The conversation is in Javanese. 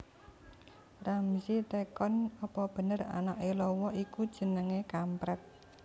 Ramzy takon opo bener anake lawa iku jenenge kampret